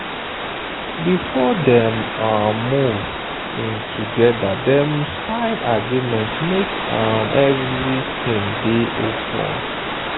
before dem um move in togetherdem sign agreement make um everything day open.